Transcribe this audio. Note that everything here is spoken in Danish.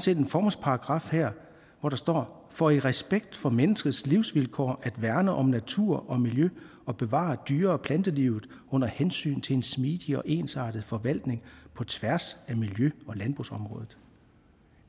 set en formålsparagraf her hvor der står for i respekt for menneskers livsvilkår at værne om natur og miljø og bevare dyre og plantelivet under hensyn til en smidig og ensartet forvaltning på tværs af miljø og landbrugsområdet